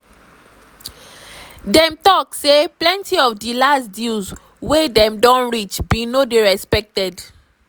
dem tok say plenti of di last deals wey dem don reach bin no dey respected.